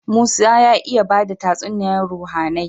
Musa ya iya bada tatsuniyar ruhAnai